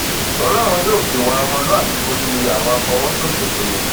wọn láwọn yóò fi ìwà ọmọlúàbí borí àwọn àfọwọsòṣèlú ni